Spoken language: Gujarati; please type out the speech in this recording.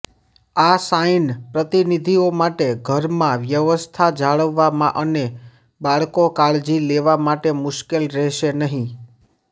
આ સાઇન પ્રતિનિધિઓ માટે ઘરમાં વ્યવસ્થા જાળવવા અને બાળકો કાળજી લેવા માટે મુશ્કેલ રહેશે નહીં